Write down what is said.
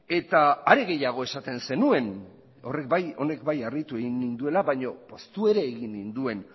eta are gehiago esaten zenuen horrek bai honek bai harritu egin ninduela baino poztu ere egin ninduen